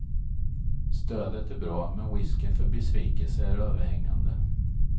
Stödet är bra, men risken för besvikelse är överhängande.